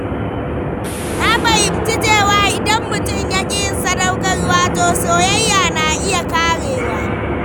Na fahimci cewa idan mutum ya ƙi yin sadaukarwa, to soyayya na iya ƙarewa.